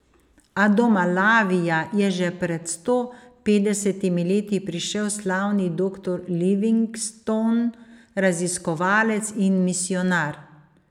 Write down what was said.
A do Malavija je že pred sto petdesetimi leti prišel slavni doktor Livingstone, raziskovalec in misijonar.